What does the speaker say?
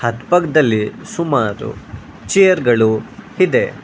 ಅಕ್ಕಪಕ್ಕದಲ್ಲಿ ಸುಮಾರು ಚೇರ್ ಗಳು ಇದೆ.